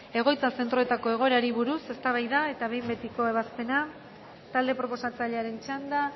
egoitza zentroetako egoerari buruz eztabaida eta behin betiko ebazpena talde proposatzailearen txanda